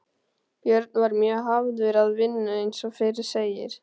Björn var mjög hafður að vinnu eins og fyrr segir.